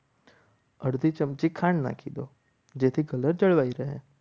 અડધી ચમચી ખાંડ નાખી દો જેથી કલર જળવાઈ રહે.